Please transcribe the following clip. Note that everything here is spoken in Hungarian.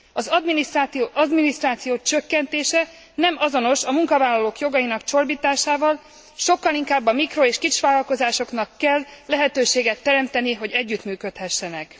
Az adminisztráció csökkentése nem azonos a munkavállalók jogainak csorbításával, sokkal inkább a mikro és kisvállalkozásoknak kell lehetőséget teremteni, hogy együttműködhessenek.